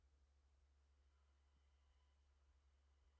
Niður í kjallara með þau hrópaði